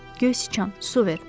Göy siçan, su ver.